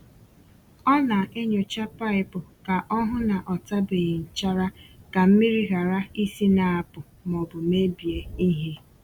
Ọ na-enyòcha paịpụ ka o hụ ná ọ tabeghi nchara ka mmiri ghara isi na-apụ̀ ma ọ bụ mebie ihe.